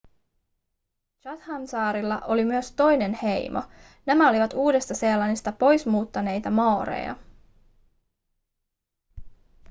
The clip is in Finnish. chathamsaarilla oli myös toinen heimo nämä olivat uudesta-seelannista pois muuttaneita maoreja